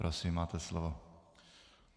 Prosím, máte slovo.